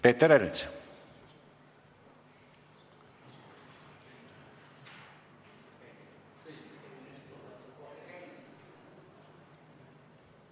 Peeter Ernits, palun!